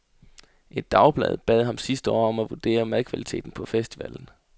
Et dagblad bad ham sidste år om at vurdere madkvaliteten på festivalen.